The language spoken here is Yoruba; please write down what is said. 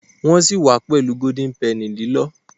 Nwọn si wá pẹlú Golden Penny lilọ